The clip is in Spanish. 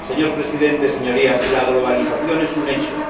Señor Presidente, Señorías, la globalización es un hecho.